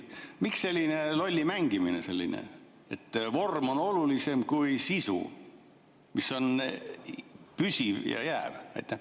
Miks selline lolli mängimine, et vorm on olulisem kui sisu, mis on püsiv ja jääv?